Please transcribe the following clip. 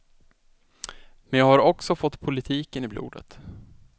Men jag har också fått politiken i blodet.